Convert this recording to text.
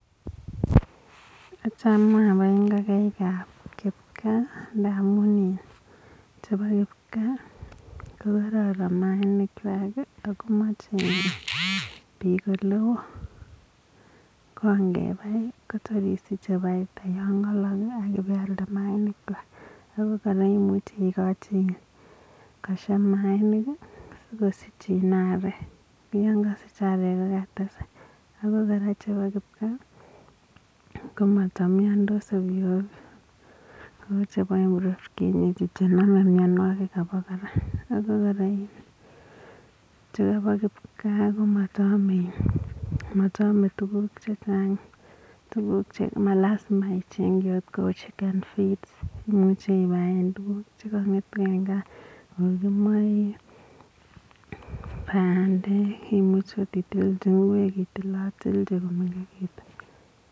Achame abae ngokaik ap kipkaa amun kararan mainik chwan akomache pik ole oo, ye kaibai kotor isische faida yangalok akipialde mayainik chwak ako kora imuche ikochi koshep mayainik akosich arek yangasich arek katesak ako kora chepo kipkaa komatanyandos ovyo ovyo ako kora chepo kipkaa komataame tukuk chechang malasima akot icheng kou chicken feeds imuche pai en kaa ikochi moik bandek anan itilche ngwek.